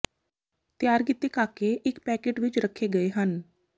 ਤਿਆਰ ਕੀਤੇ ਕਾਕੇ ਇੱਕ ਪੈਕੇਟ ਵਿੱਚ ਰੱਖੇ ਗਏ ਹਨ